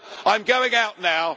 And so I am going out now